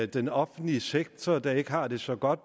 den offentlige sektor der ikke har det så godt